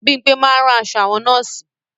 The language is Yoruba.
Bímpé máa ń rán aṣọ àwọn nọ́ọ̀sì